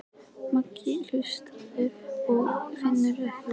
Magnús Hlynur: Og hvernig finnst þeim maturinn?